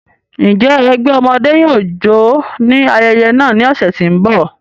Njẹ ẹgbẹ ọmọde yóò jó ni ayẹyẹ naa ni ọsẹ ti n bọ?